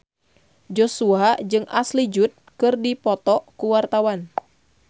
Joshua jeung Ashley Judd keur dipoto ku wartawan